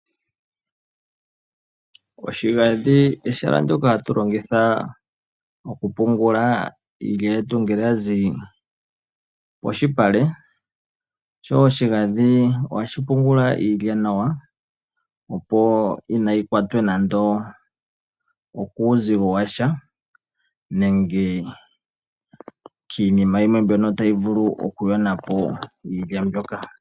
Oshigandhi ehala ndoka hatu longitha moku pungula iilya yetu ngele ya zi pomalupale sho oshigandhi ohashi pungula iilya nawa opo kaayi kwatwe nande okuuzigo washa nande kiinima yimwe mbyoka tayi vulu oku yona po iilya mboka.